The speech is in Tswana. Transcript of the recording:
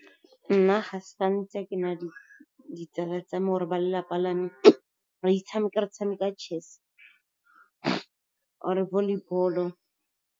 Nna ga sa ntse ke na le ditsala tsa me, or-e ba lelapa la me re tshameka chess-e or volleyball-o.